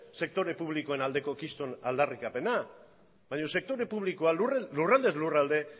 sektore publikoen aldeko kriston aldarrikapena baina sektore publikoa lurraldez lurralde